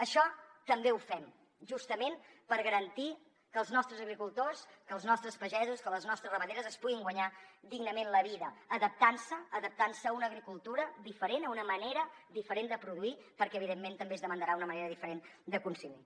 això també ho fem justament per garantir que els nostres agricultors que els nostres pagesos que les nostres ramaderes es puguin guanyar dignament la vida adaptant se adaptant se a una agricultura diferent a una manera diferent de produir perquè evidentment també es demandarà una manera diferent de consumir